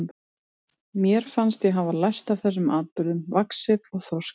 Mér fannst ég hafa lært af þessum atburðum, vaxið og þroskast.